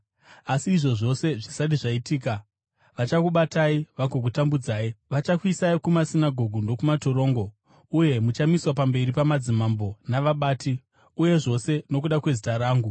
“Asi izvi zvose zvisati zvaitika, vachakubatai vagokutambudzai. Vachakuisai kumasinagoge nokumatorongo uye muchamiswa pamberi pamadzimambo navabati, uye zvose nokuda kwezita rangu.